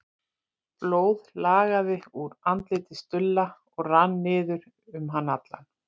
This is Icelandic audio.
Blóð lagaði úr andliti Stulla og rann niður um hann allan.